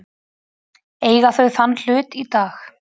Eiga þau þann hlut í dag.